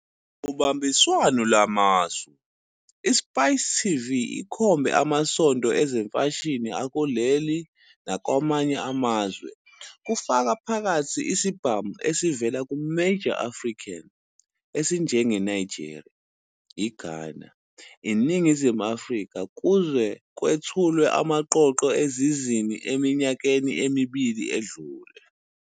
Ngobambiswano lwamasu, iSpice TV ikhombe amasonto ezemfashini akuleli nakwamanye amazwe kufaka phakathi isibhamu esivela kuMajor African esinjengeNigeria, iGhana, iNingizimu Afrika kuze kwethulwe amaqoqo ezizini eminyakeni emibili edlule.